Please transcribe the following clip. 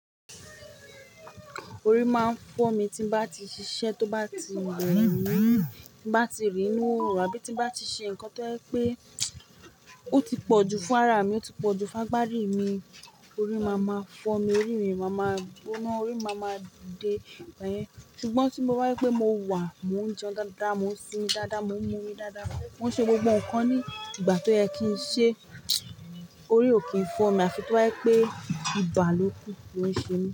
Orí máa ń fọ́ mi tí n bá ti ṣiṣẹ́ tó bá ti rẹ̀mí, tí n bá ti rín inú orùn àbí tí n bá ti ṣe nǹkan tó jẹ́ pé ó ti pọ̀ ju fún ara mi, ó ti pọ̀ ju fún agbárí mi. Orí máa ma fọ́ mi, orí mi máa ma gbóná, orí máa ma dìde igba yẹn. Ṣùgbọ́n tí mo bá rí pé mo wà, mò ń jẹun dáadáa, mò ń sinmi dáadáa, mò ń mú omi dáadáa, mò ń ṣe gbogbo nǹkan ní ìgbà tó yẹ kí n ṣe, orí ò kí ń fọ́ mi àfi tí ọ́ bá jẹ́ pé ibà lókù ló ń ṣe mí.